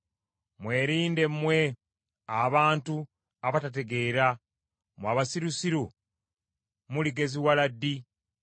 Mwerinde mmwe abantu abatategeera. Mmwe abasirusiru muligeziwala ddi?